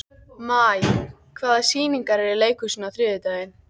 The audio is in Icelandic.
Maj, hvaða sýningar eru í leikhúsinu á þriðjudaginn?